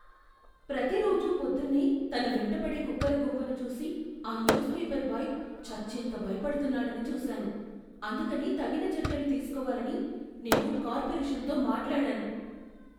ప్రతిరోజూ పొద్దున్నే తన వెంటపడే కుక్కల గుంపును చూసి ఆ న్యూస్పేపర్ బాయ్ చచ్చేంత భయపడుతున్నాడని చూశాను. అందుకని తగిన చర్యలు తీసుకోవాలని నేను కార్పొరేషన్తో మాట్లాడాను.